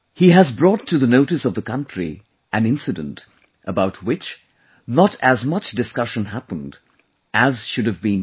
He has brought to the notice of the country an incident about which not as much discussion happened as should have been done